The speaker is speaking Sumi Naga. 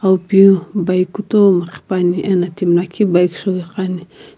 awu piu bike kutomo qhipuani ena timi lakhi bike shou iqani.